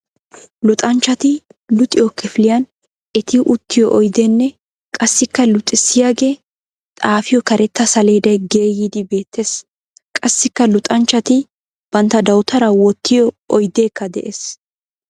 Luxanchchatti luxiyo kifiliyan etti uttiyo oyddenne qassikka luxissiyagee xafiyo karetta saledday geeyyiddi beetes. Qassikka luxanchchatti bantta dawutara wottiyo oyddekka de'ees.